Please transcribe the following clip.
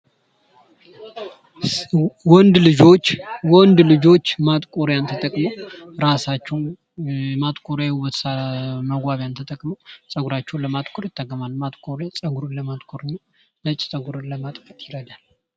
ወንድ ልጆች ወንድ ልጆች ማጥቆሪያን ተጠቅመው ራሳቸውን ማጥቆሪያ መዋቢያን ተጠቅመው ፀጉራቸውን ለማጥቆር ይጠቀማሉ ። ማጥቆሪያ ፀጉርን ለማጥቆር እና ነጭ ፀጉርን ለማጥፋት ይረዳል ።